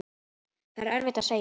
Það er erfitt að segja.